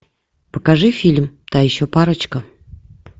покажи фильм та еще парочка